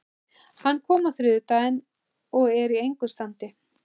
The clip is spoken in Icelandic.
Hann kom á þriðjudaginn og er í engu standi.